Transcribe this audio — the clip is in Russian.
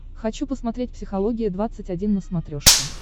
хочу посмотреть психология двадцать один на смотрешке